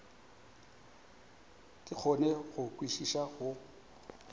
ke kgone go kwešiša go